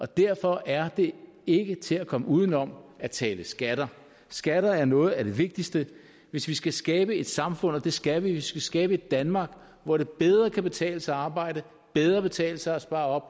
derfor er det ikke til at komme uden om at tale skatter skatter er noget af det vigtigste hvis vi skal skabe et samfund og det skal vi hvis vi skal skabe et danmark hvor det bedre kan betale sig at arbejde bedre betale sig at spare op